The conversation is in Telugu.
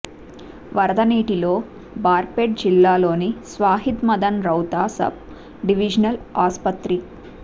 వరద నీటిలో బార్పేట జిల్లాలోని స్వాహిద్ మదన్ రౌతా సబ్ డివిజనల్ ఆస్పత్రి